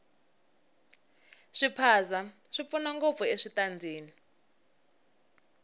swiphaza swi pfuna ngopfu eswitandini